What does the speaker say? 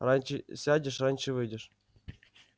раньше сядешь раньше выйдешь